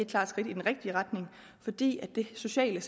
klart skridt i den rigtige retning fordi det sociale